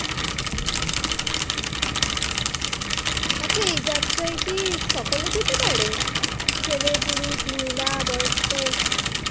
আচ্ছা এই যাত্ৰা কি সকালেই যেতে পারে? ছেলে পুরুষ মহিলা বয়স্ক